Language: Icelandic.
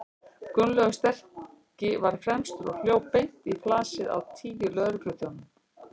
Gunnlaugur sterki var fremstur og hljóp beint í flasið á tíu lögregluþjónum.